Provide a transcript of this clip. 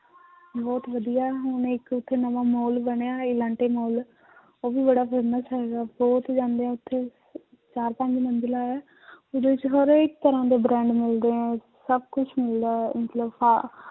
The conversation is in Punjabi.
ਬਹੁਤ ਵਧੀਆ ਹੁਣ ਇੱਕ ਉੱਥੇ ਨਵਾਂ ਮਾਲ ਬਣਿਆ ਐਲਾਂਟੇ ਮਾਲ ਉਹ ਵੀ ਬੜਾ famous ਹੈਗਾ ਬਹੁਤ ਜਾਂਦੇ ਹੈ ਉੱਥੇ ਚਾਰ ਪੰਜ ਮੰਜਿਲਾ ਹੈ ਉਹਦੇ ਵਿੱਚ ਹਰ ਇੱਕ ਤਰ੍ਹਾਂ ਦੇ brand ਮਿਲਦੇ ਹੈ ਸਭ ਕੁਛ ਮਿਲਦਾ ਹੈ ਮਤਲਬ ਹਾ~